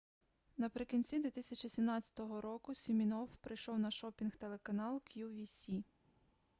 наприкінці 2017 року сімінофф прийшов на шопінг-телеканал qvc